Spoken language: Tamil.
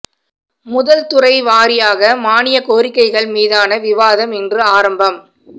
முதல் துறை வாரியாக மானியக் கோரிக்கைகள் மீதான விவாதம் இன்று ஆரம்பம்